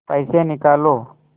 पैसे निकालो